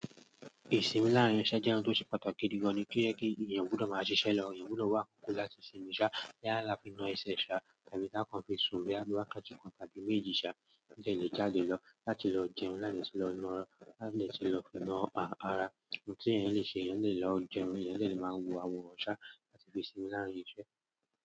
Ìsinmi láàárín iṣẹ́ jẹ́ ohun tó ṣe pàtàkì gidi gan ni, kí ó yẹ kí èèyàn gbudọ máa ṣiṣẹ́ lọ. Èèyàn gbudọ wá àkókò láti sinmi sá, lé àlá fi na ẹsẹ̀ sá, tàbí tá kàn fin sun boya bi wákàtí kàn tàbí méjì sá, lẹ́ẹ̀ lè jáde lọ, láti lọ jẹun, láti lọ na ara, láti lè ṣe lọ na à ara. Ohun tí èèyàn le ṣe, èèyàn le lọ jẹun, èèyàn le máa wo àwọn ọ̀ṣá, àti fi sinmi láàárín iṣẹ́.